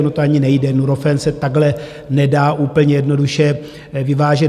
Ono to ani nejde, Nurofen se takhle nedá úplně jednoduše vyvážet.